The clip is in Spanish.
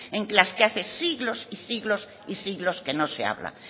en las que hace siglos y siglos y siglos que no se habla